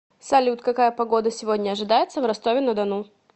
салют какая погода сегодня ожидается в ростове на дону